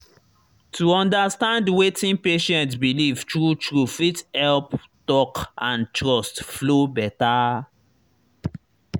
to understand wetin patient believe true true fit help talk and trust flow better.